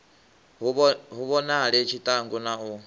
hu vhonale tshiṱangu na u